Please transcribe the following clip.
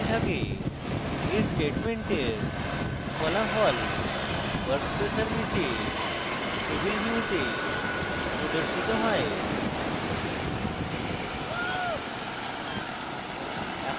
এই স্টেটমেন্টের ফলাফল workspace এর নীচে table view the প্রদর্শিত হয়